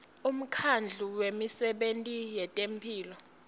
umkhandlu wemisebenti yetemphilo